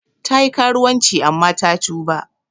Ta yi karuwanci amma ta tuba.